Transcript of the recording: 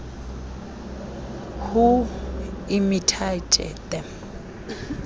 who imitate them